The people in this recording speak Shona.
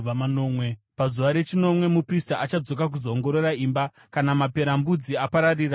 Pazuva rechinomwe muprista achadzoka kuzoongorora imba. Kana maperembudzi apararira pamadziro,